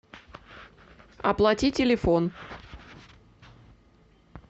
оплати телефон